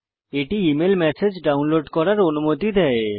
এটি email message download করার অনুমতি দেয়